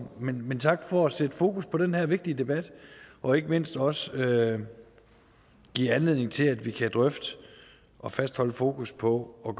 men men tak for at sætte fokus på den her vigtige debat og ikke mindst også give anledning til at vi kan drøfte og fastholde fokus på at